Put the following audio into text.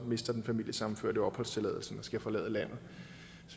mister den familiesammenførte opholdstilladelsen og skal forlade landet